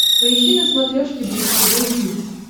поищи на смотрешке бридж тв хитс